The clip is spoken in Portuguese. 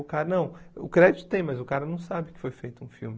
O cara não o crédito tem, mas o cara não sabe que foi feito um filme.